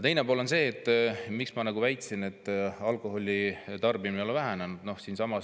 Aga miks ma väitsin, et alkoholi tarbimine ei ole vähenenud?